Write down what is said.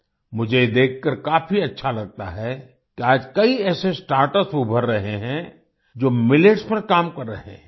मुझे ये देखकर काफी अच्छा लगता है कि आज कई ऐसे स्टार्टअप्स उभर रहे हैं जो मिलेट्स पर काम कर रहे हैं